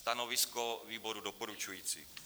Stanovisko výboru doporučující.